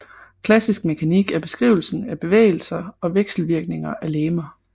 Klassisk mekanik er beskrivelsen af bevægelser og vekselvirkninger af legemer